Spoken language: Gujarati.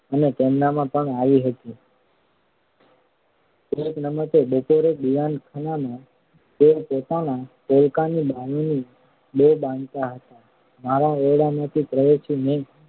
અને તેમનામાં પણ આવી હતી. એક નમતે બપોરે દીવાનખાનામાં તેઓ પોતાના પોલકાની બાંયોની બો બાંધતાં હતાં. મારા ઓરડામાંથી પ્રવેશી મેં